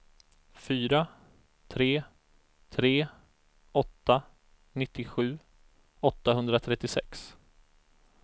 fyra tre tre åtta nittiosju åttahundratrettiosex